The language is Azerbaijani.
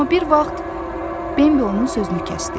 Amma bir vaxt Bimbi onun sözünü kəsdi.